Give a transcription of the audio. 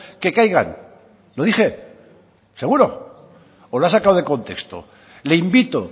que caigan lo dije seguro o lo ha sacado de contexto le invito